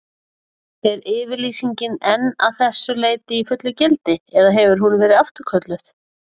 Er yfirlýsingin enn að þessu leyti í fullu gildi, eða hefur hún verið afturkölluð?